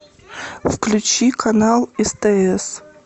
включи канал стс